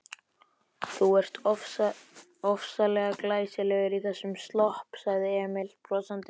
Þú ert ofsalega glæsilegur í þessum slopp, sagði Emil brosandi.